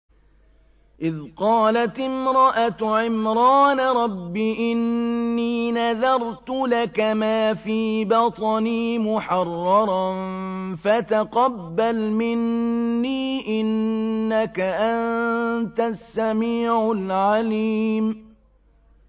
إِذْ قَالَتِ امْرَأَتُ عِمْرَانَ رَبِّ إِنِّي نَذَرْتُ لَكَ مَا فِي بَطْنِي مُحَرَّرًا فَتَقَبَّلْ مِنِّي ۖ إِنَّكَ أَنتَ السَّمِيعُ الْعَلِيمُ